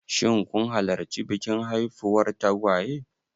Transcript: Shin kun halarci bikin haifuwar tagwaye?